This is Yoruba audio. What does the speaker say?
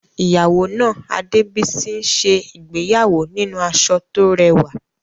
Ìyàwó náà, Adebisi, ń ṣe ìgbéyàwó nínú aṣọ tó rẹwà.